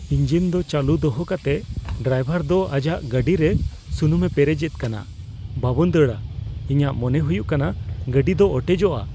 Engine ᱫᱚ ᱪᱟᱞᱩ ᱫᱚᱦᱚ ᱠᱟᱛᱮ ᱰᱨᱟᱭᱵᱷᱟᱨ ᱫᱚ ᱟᱡᱟᱜ ᱜᱟᱹᱰᱤ ᱨᱮ ᱥᱩᱱᱩᱢ ᱮ ᱯᱮᱨᱮᱡᱼᱮᱫ ᱠᱟᱱᱟ ᱾ ᱵᱟᱵᱚᱱ ᱫᱟᱲᱼᱟ ? ᱤᱧᱟᱹᱜ ᱢᱚᱱᱮ ᱦᱩᱭᱩᱜ ᱠᱟᱱᱟ ᱜᱟᱹᱰᱤ ᱫᱚ ᱚᱴᱮᱡᱚᱜᱼᱟ ᱾